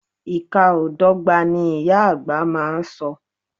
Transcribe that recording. Ìka o dọ́gba, ni ìyá àgbà má a so.